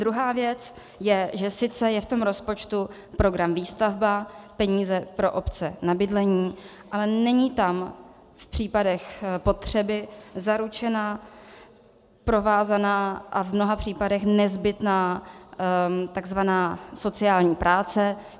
Druhá věc je, že sice je v tom rozpočtu program Výstavba, peníze pro obce na bydlení, ale není tam v případech potřeby zaručena provázaná a v mnoha případech nezbytná takzvaná sociální práce.